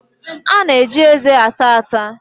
A na-eji eze ata ata.